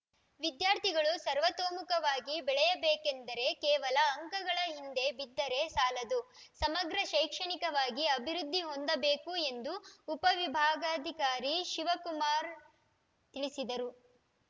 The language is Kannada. ವಿದ್ಯಾರ್ಥಿಗಳು ಸರ್ವತೋಮುಖವಾಗಿ ಬೆಳೆಯಬೇಕೆಂದರೆ ಕೇವಲ ಅಂಕಗಳ ಹಿಂದೆ ಬಿದ್ದರೆ ಸಾಲದು ಸಮಗ್ರ ಶೈಕ್ಷಣಿಕವಾಗಿ ಅಭಿವೃದ್ಧಿ ಹೊಂದಬೇಕು ಎಂದು ಉಪ ವಿಭಾಗಾಧಿಕಾರಿ ಶಿವಕುಮಾರ್ ತಿಳಿಸಿದರು